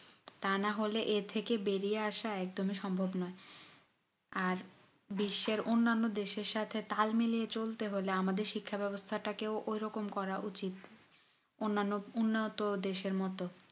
তা নাহলে এ থেকে বেরিয়ে আসা একদমই সম্ভব নয় আর বিশ্বের অন্যান্য দেশ এর সাথে তাল মিলিয়ে চলতে হলে আমাদের শিক্ষা ব্যবস্থা কে ওই রকম করা উচিত অন্যান্য উন্নয়ত দেশ এর মতো